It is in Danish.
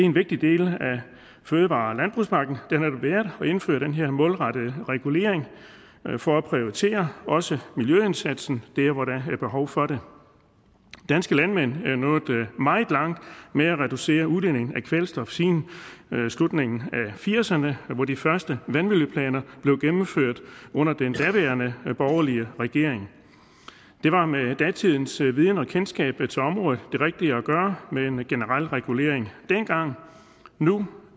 en vigtig del af fødevare og landbrugspakken at indføre den her målrettet regulering for at prioritere også miljøindsatsen dér hvor der er behov for det danske landmænd er nået meget langt med at reducere udledningen af kvælstof siden slutningen af firserne hvor de første vandmiljøplaner blev gennemført under den daværende borgerlige regering det var med datidens viden og kendskab til området det rigtige at gøre med en generel regulering dengang nu